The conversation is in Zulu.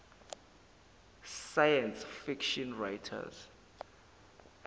science fiction writers